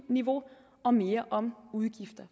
og mere om udgifter